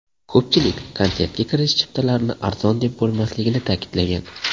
Ko‘pchilik konsertga kirish chiptalarini arzon deb bo‘lmasligini ta’kidlagan.